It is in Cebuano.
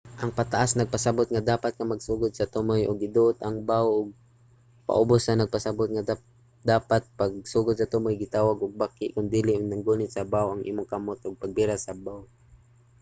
ang pataas nagpasabot nga dapat ka magsugod sa tumoy ug iduot ang bow ug ang paubos nagpasabot nga dapat magsugod sa tumoy nga gitawag og baki kon diin naggunit sa bow ang imong kamot ug pagbira sa bow